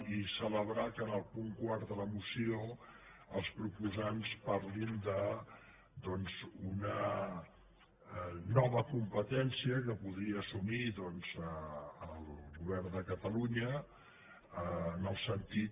i celebrar que en el punt quart de la moció els proposants parlin de doncs d’una nova competència que podria assumir el govern de catalunya en el sentit